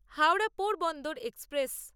Howrah Porbandar express